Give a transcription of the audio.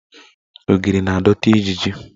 Ogiri na-adọta ijiji.